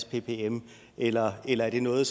ppm eller eller er det noget